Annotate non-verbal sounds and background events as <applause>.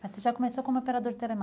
Mas você já começou como operador de <unintelligible>